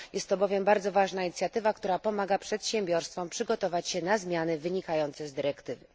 Jest to bowiem bardzo ważna inicjatywa, która pomaga przedsiębiorstwom przygotować się na zmiany wynikające z dyrektywy.